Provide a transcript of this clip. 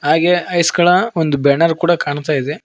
ಹಾಗೆ ಐಸ್ ಗಳ ಒಂದು ಬ್ಯಾನರ್ ಕೂಡ ಕಾಣ್ತಾ ಇದೆ.